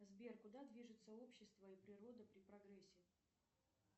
сбер куда движется общество и природа при прогрессе